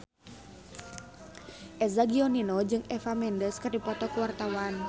Eza Gionino jeung Eva Mendes keur dipoto ku wartawan